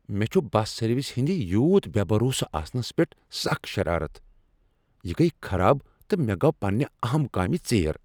مےٚ چُھ بس سروسہِ ہندِ یوٗت بےٚ بھروسہٕ آسنس پیٹھ سکھ شرارتھ ۔ یہ گٔیہ خراب، تہٕ مےٚ گوٚو پنٛنہِ اہم كامہِ ژیر ۔